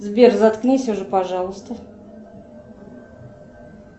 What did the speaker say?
сбер заткнись уже пожалуйста